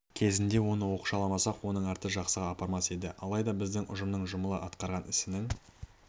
кезінде оны оқшауламасақ оның арты жақсыға апармас еді алайда біздің ұжымның жұмыла атқарған ісінің